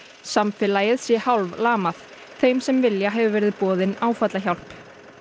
samfélagið sé hálflamað þeim sem vilja hefur verið boðin áfallahjálp